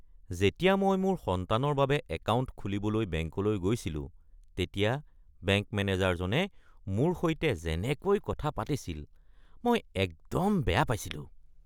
যেতিয়া মই মোৰ সন্তানৰ বাবে একাউণ্ট খুলিবলৈ বেংকলৈ গৈছিলো তেতিয়া বেংক মেনেজাৰজনে মোৰ সৈতে যেনেকৈ কথা পাতিছিল মই একদম বেয়া পাইছিলোঁ।